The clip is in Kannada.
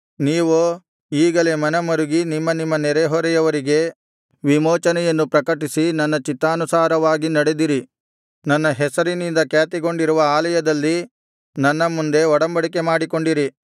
ನೀವೋ ಈಗಲೇ ಮನಮರುಗಿ ನಿಮ್ಮ ನಿಮ್ಮ ನೆರೆಹೊರೆಯವರಿಗೆ ವಿಮೋಚನೆಯನ್ನು ಪ್ರಕಟಿಸಿ ನನ್ನ ಚಿತ್ತಾನುಸಾರವಾಗಿ ನಡೆದಿರಿ ನನ್ನ ಹೆಸರಿನಿಂದ ಖ್ಯಾತಿಗೊಂಡಿರುವ ಆಲಯದಲ್ಲಿ ನನ್ನ ಮುಂದೆ ಒಡಂಬಡಿಕೆ ಮಾಡಿಕೊಂಡಿರಿ